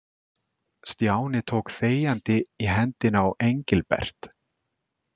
Stjáni tók þegjandi í hendina á Engilbert.